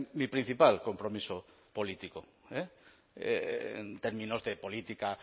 mi principal compromiso político en términos de política